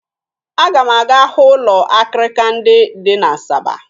Aga m aga hụ ụlọ akịrịka ndị dị na Asaba